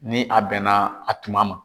Ni a bɛnna a tuma ma